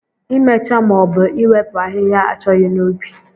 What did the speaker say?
Imecha maọbu iwepu ahịhịa achọghị n'ubi